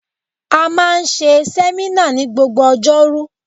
A máa ń ṣe sẹ́mínà ní gbogbo Ọjọ́rú